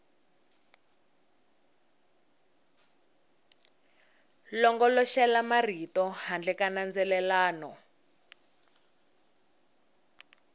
longoloxela marito handle ka nandzelelano